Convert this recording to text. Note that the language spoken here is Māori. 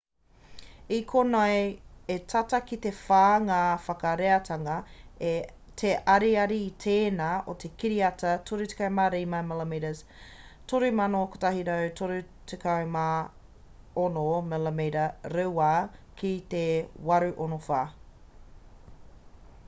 i konei e tata ki te whā ngā whakareatanga te ariari i tēnā o te kiriata 35 mm 3136 mm2 ki te 864